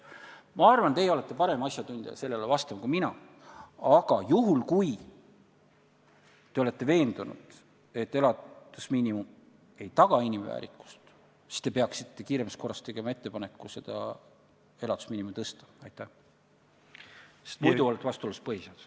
Ma arvan, et teie olete parem asjatundja sellele vastama kui mina, aga juhul, kui te olete veendunud, et elatusmiinimum ei taga inimväärikust, siis peaksite kiiremas korras tegema ettepaneku elatusmiinimumi suurendada, sest muidu olete vastuolus põhiseadusega.